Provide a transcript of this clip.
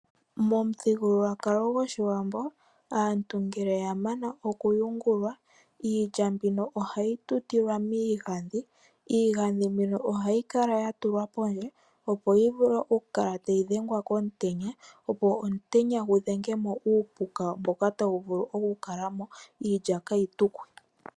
Momuthigululwakalo gOshiwambo aantu ngele ya mana okuyungula, iilya mbino ohayi tutilwa miigadhi. Iigadhi mbino ohayi kala ya tulwa pondje opo yi vule okukala tayi dhenga komutenya, opo omutenya gu dhenge mo uupuka mboka ta wu vulu okukala mo, iilya ka yi tukwe.